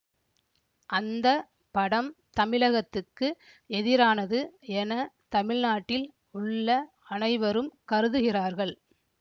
அந்த படம் தமிழகத்துக்கு எதிரானது என தமிழ்நாட்டில் உள்ள அனைவரும் கருதுகிறார்கள்